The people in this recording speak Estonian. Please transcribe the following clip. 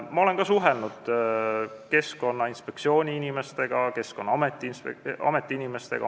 Ma olen suhelnud ka Keskkonnainspektsiooni ja Keskkonnaameti inimestega.